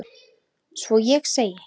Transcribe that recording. Svo ég segi